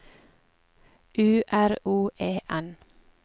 U R O E N